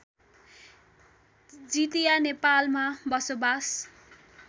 जितीया नेपालमा बसोबास